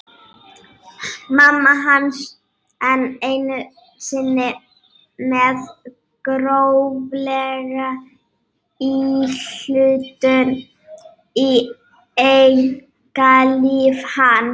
Mamma hans enn einu sinni með gróflega íhlutun í einkalíf hans!